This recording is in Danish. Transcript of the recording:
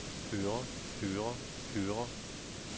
hører hører hører